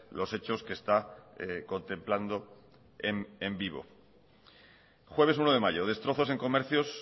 los hechos que está contemplando en vivo jueves uno de mayo destrozos en comercios